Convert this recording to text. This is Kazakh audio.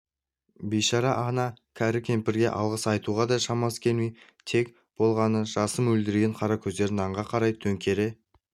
бейшара ана кәрі кемпірге алғыс айтуға да шамасы келмей тек болғаны жасы мөлдіреген қара көздерін нанға қарай төңкере